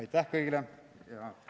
Aitäh kõigile!